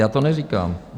Já to neříkám.